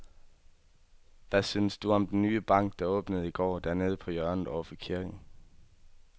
Hvad synes du om den nye bank, der åbnede i går dernede på hjørnet over for kirken?